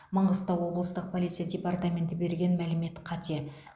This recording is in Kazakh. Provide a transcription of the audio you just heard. маңғыстау облыстық полиция департаменті берген мәлімет қате